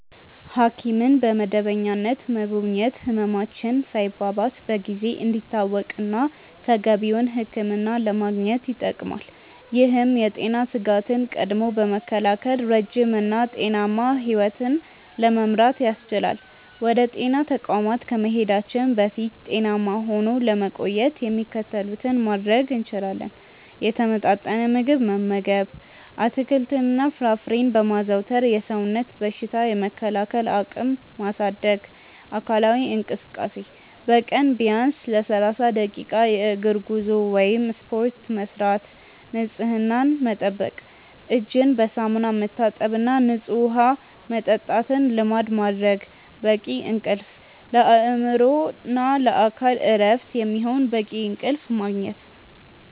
ሐኪምን በመደበኛነት መጎብኘት ህመማችን ሳይባባስ በጊዜ እንዲታወቅና ተገቢውን ሕክምና ለማግኘት ይጠቅማል። ይህም የጤና ስጋትን ቀድሞ በመከላከል ረጅም እና ጤናማ ሕይወት ለመምራት ያስችላል። ወደ ጤና ተቋማት ከመሄዳችን በፊት ጤናማ ሆኖ ለመቆየት የሚከተሉትን ማድረግ እንችላለን፦ የተመጣጠነ ምግብ መመገብ፦ አትክልትና ፍራፍሬን በማዘውተር የሰውነትን በሽታ የመከላከል አቅም ማሳደግ። አካላዊ እንቅስቃሴ፦ በቀን ቢያንስ ለ30 ደቂቃ የእግር ጉዞ ወይም ስፖርት መስራት። ንፅህናን መጠበቅ፦ እጅን በሳሙና መታጠብና ንፁህ ውሃ መጠጣትን ልማድ ማድረግ። በቂ እንቅልፍ፦ ለአእምሮና ለአካል እረፍት የሚሆን በቂ እንቅልፍ ማግኘት።